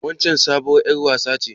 Waccen sabuwar ƴar wasa ce.